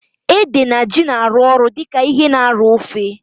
Ede na ji na arụ ọrụ dịka ihe na arọ ofe